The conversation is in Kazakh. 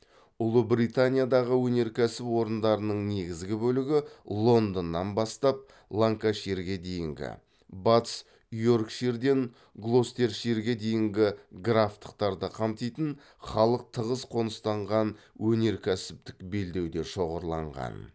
ұлыбританиядағы өнеркәсіп орындарының негізгі бөлігі лондоннан бастап ланкаширге дейінгі батыс йоркширден глостерширге дейінгі графтықтарды қамтитын халық тығыз қоныстанған өнеркәсіптік белдеуде шоғырланған